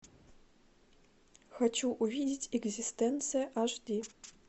хочу увидеть экзистенция аш ди